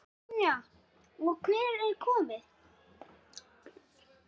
Brynja: Og einhver komið?